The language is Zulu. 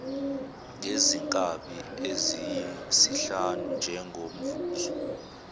ngezinkabi eziyisihlanu njengomvuzo